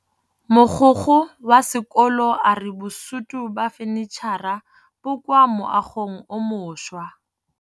Mogokgo wa sekolo a re bosutô ba fanitšhara bo kwa moagong o mošwa.